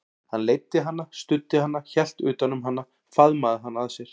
Hann leiddi hana, studdi hana, hélt utan um hana, faðmaði hana að sér.